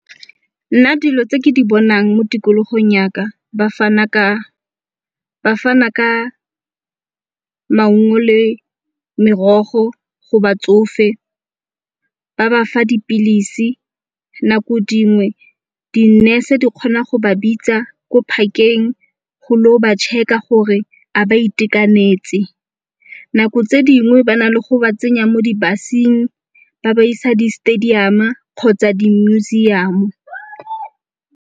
Nna dilo tse ke di bonang mo tikologong ya ka ba fana ka maungo le merogo go batsofe, ba bafa dipilisi nako dingwe di nurse-e di kgona go ba bitsa ko park-eng go lo ba check-a gore a ba itekanetse. Nako tse dingwe ba na le go ba tsenya mo di-bus-eng ba ba isa di-stadium-a kgotsa di-museum.